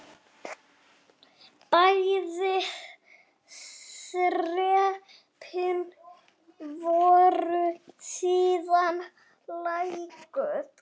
Bæði þrepin voru síðan lækkuð.